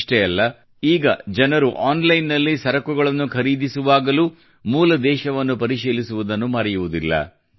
ಇಷ್ಟೇ ಅಲ್ಲ ಈಗ ಜನರು ಆನ್ಲೈನ್ನಲ್ಲಿ ಸರಕುಗಳನ್ನು ಖರೀದಿಸುವಾಗಲೂ ಮೂಲ ದೇಶವನ್ನು ಪರಿಶೀಲಿಸುವುದನ್ನು ಮರೆಯುವುದಿಲ್ಲ